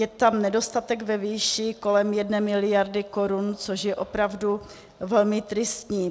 Je tam nedostatek ve výši kolem jedné miliardy korun, což je opravdu velmi tristní.